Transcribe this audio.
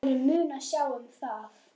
Aðrir munu sjá um það.